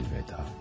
Əlvida.